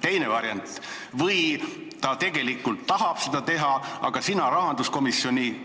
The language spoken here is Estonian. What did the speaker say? Teine variant: ta tegelikult tahab seda teha, aga sina rahanduskomisjoni